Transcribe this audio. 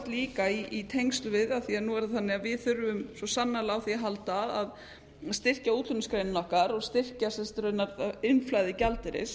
líka í tengslum við það af því nú er það þannig að við þurfum svo sannarlega á því að halda að styrkja útflutningsgreinarnar okkar og styrkja raunar innflæði gjaldeyris